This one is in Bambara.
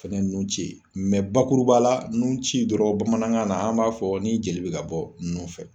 O fɛnɛ ye nun ci ye mɛ bakuru ba la nun ci dɔrɔn bamanankan na an b'a fɔ ni jeli be ka bɔ nun fɛ